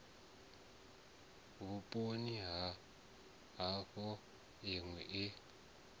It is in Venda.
vhuponi ha havho minwe i